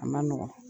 A ma nɔgɔn